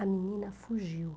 A menina fugiu.